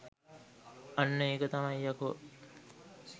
අන්න ඒක තමයි යකෝ